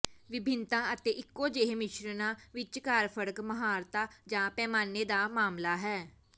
ਵਿਭਿੰਨਤਾ ਅਤੇ ਇਕੋ ਜਿਹੇ ਮਿਸ਼ਰਣਾਂ ਵਿਚਕਾਰ ਫਰਕ ਮਾਹਰਤਾ ਜਾਂ ਪੈਮਾਨੇ ਦਾ ਮਾਮਲਾ ਹੈ